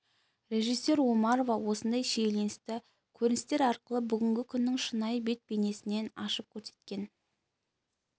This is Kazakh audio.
режиссер омарова осындай шиеленісті көріністер арқылы бүгінгі күннің шынайы бет бейнесін ашып көрсеткен